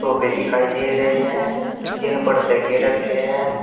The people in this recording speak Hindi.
सॉफे दिखाई दे रहे हैं जिन पर तकिये रखे हैं।